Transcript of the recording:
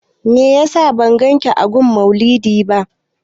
Meyasa ban ganki a gun maulidi ba?